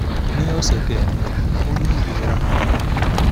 ni ọsẹ kẹrin o ni irora ninu ikun ati ẹhin